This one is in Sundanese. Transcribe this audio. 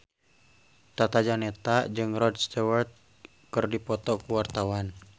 Tata Janeta jeung Rod Stewart keur dipoto ku wartawan